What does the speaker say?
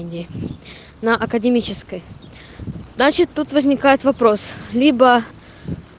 иди на академической значит тут возникает вопрос либо